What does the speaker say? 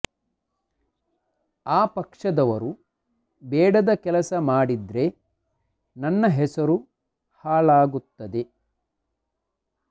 ಆ ಪಕ್ಷದವರು ಬೇಡದ ಕೆಲಸ ಮಾಡಿದ್ರೆ ನನ್ನ ಹೆಸರು ಹಾಳಾಗುತ್ತದೆ